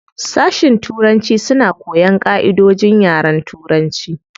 Sashin turanci suna koyan ƙaʼidojin yaren turanci.